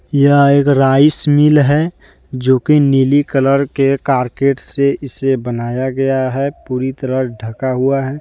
यह एक rice mill है जो की नीली कलर के कारकेट से इसे बनाया गया है पूरी तरह ढका हुआ है।